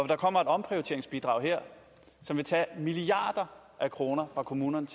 der kommer et omprioriteringsbidrag her som vil tage milliarder af kroner fra kommunerne